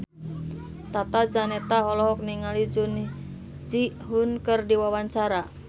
Tata Janeta olohok ningali Jun Ji Hyun keur diwawancara